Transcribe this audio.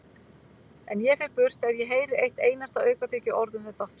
En ég fer burt ef ég heyri eitt einasta aukatekið orð um þetta aftur.